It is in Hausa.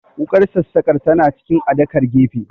Wuƙar sassaƙar tana cikin adakar gefe